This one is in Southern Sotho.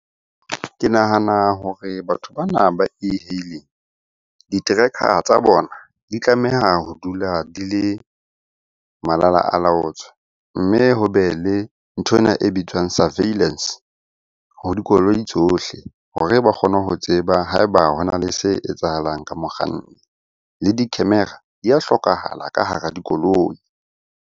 Ke nahana hore batho bana ba e-hailing di-tracker tsa bona di tlameha ho dula di le malalaalaotswe. Mme ho be le nthwena e bitswang surveillance ho dikoloi tsohle hore ba kgone ho tseba ha eba hona le se etsahalang ka mokganni. Le di-camera di a hlokahala ka hara dikoloi.